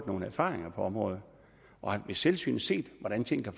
nogle erfaringer på området og har ved selvsyn set hvordan tingene